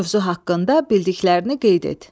Mövzu haqqında bildiklərini qeyd et.